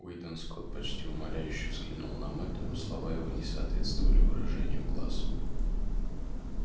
уидон скотт почти умоляюще взглянул на мэтта но слова его не соответствовали выражению глаз